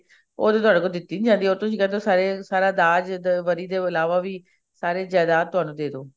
ਉਹ ਤਾਂ ਥੋਡੇ ਕੋਲੋਂ ਦਿੱਤੀ ਨੀ ਜਾਂਦੀ ਉਹ ਤੁਸੀਂ ਕਹਿੰਦੇ ਹੋ ਸਾਰਾ ਦਾਜ ਵਰੀ ਦੇ ਇਲਾਵਾ ਵੀ ਸਾਰੀ ਜਾਇਦਾਦ ਤੁਹਾਨੂੰ ਦੇਦੋ